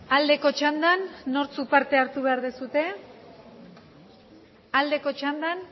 aldeko txandan nortzuk parte hartu behar duzue aldeko txandan